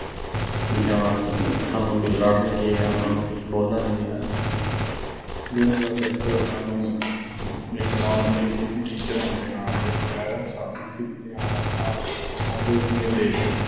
ਵੀ ਜਾਂ ਅਸੀਂ ਵੀ ਸਾਨੂੰ ਲੜਨਗੇ ਜਾਂ ਬੋਲਣਗੇ ਹਨਾ ਅਹ ਵੀ ਬਸ ਇੱਕ ਸਾਨੂੰ ਇੱਕ duty teacher ਹੋਣ ਦੇ ਨਾਤੇ madam ਸੱਦਦੀ ਸੀਗੀ ਤੇ ਹਾਂ ਆਉਂ ਅਹ ਆਉਂਦੇ ਸੀਗੇ ਤੇ